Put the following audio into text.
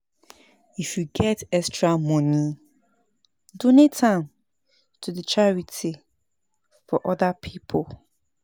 If yu get extra moni, donate am to charity for oda pipo.